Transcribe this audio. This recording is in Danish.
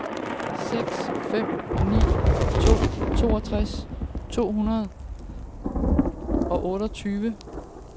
seks fem ni to toogtres to hundrede og otteogtyve